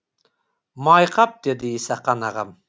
май қап деді исақан ағам